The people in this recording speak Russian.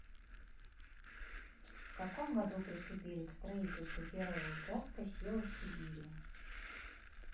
в каком году приступили к строительству первого участка сила сибири